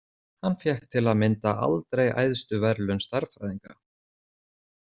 Hann fékk til að mynda aldrei æðstu verðlaun stærðfræðinga.